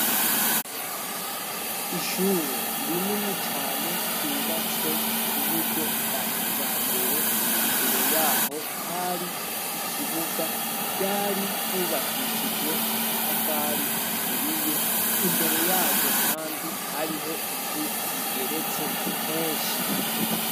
Ishure rinini cane ryubatswe ku buryo bwa kija mbere imbere yaho hari ikibuga ryari ryubakishijwe amatafari aturiye imbere yaryo, kandi hariho inzu igeretse kenshi.